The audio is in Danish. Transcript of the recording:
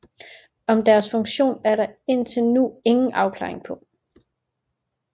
Om deres funktion er der indtil nu ingen afklaring på